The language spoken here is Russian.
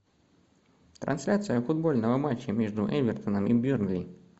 трансляция футбольного матча между эвертоном и бернли